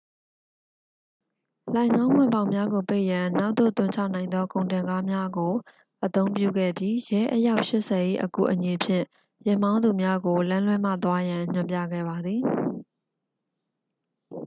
လှိုဏ်ခေါင်းဝင်ပေါက်များကိုပိတ်ရန် နောက်သို့သွန်ချနိုင်သောကုန်တင်ကားများကို အသုံးပြုခဲ့ပြီး ရဲ အယောက် 80 ၏အကူအညီဖြင့် ယာဉ်မောင်းသူများကို လမ်းလွှဲမှသွားရန် ညွှန်ပြခဲ့ပါသည်